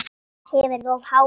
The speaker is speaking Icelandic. Hef verið of hávær.